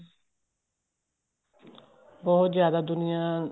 ਬਹੁਤ ਜਿਆਦਾ ਦੁਨੀਆ